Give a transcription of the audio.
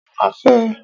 Ó ma fẹ́ ẹ.